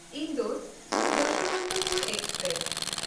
ᱤᱱᱫᱳᱨ–ᱡᱚᱥᱵᱚᱱᱚᱛᱚᱯᱩᱨ express